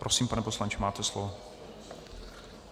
Prosím, pane poslanče, máte slovo.